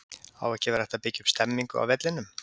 Á ekki að vera að byggja upp stemningu á vellinum??